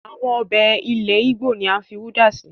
Àwọn ọbẹ̀ ilẹ̀ ìgbò ni à ń fi udá si